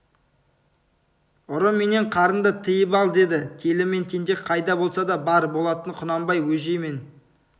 ұры менен қарынды тыйып ал деді телі мен тентек қайда болсада бар болатын құнанбай бөжей мен